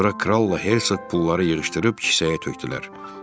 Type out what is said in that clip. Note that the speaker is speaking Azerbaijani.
Sonra kralla Herseq pulları yığışdırıb kisəyə tökdülər.